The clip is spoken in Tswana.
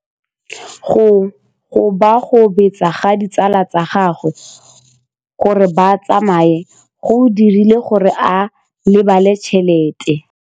Go gobagobetsa ga ditsala tsa gagwe, gore ba tsamaye go dirile gore a lebale tšhelete.